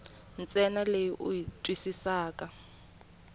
ntsena leyi u yi twisisaka